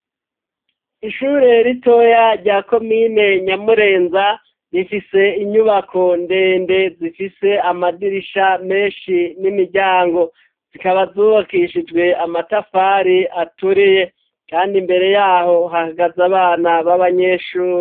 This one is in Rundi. Ishure ritoya rya komine Nyamurenza rifise inyubako ndende zifise amadirisha menshi n'imiryango, zikaba zubakishijwe amatafari aturiye ,kandi mbere yaho hakagaze abana b'abanyeshuri.